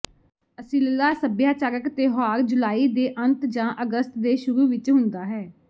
Asilah ਸੱਭਿਆਚਾਰਕ ਤਿਉਹਾਰ ਜੁਲਾਈ ਦੇ ਅੰਤ ਜਾਂ ਅਗਸਤ ਦੇ ਸ਼ੁਰੂ ਵਿੱਚ ਹੁੰਦਾ ਹੈ